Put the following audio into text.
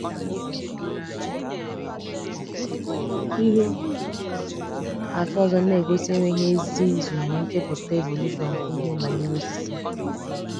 Ihe àtụ ọzọ na-egosi enweghị èzì izu ná nchepụta evolushọn bụ ihe banyere osisi.